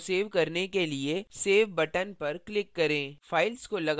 अब file को save करने के लिए save button पर click करें